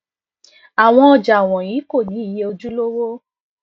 awọn ọja wọnyi ko ni iye ojulowo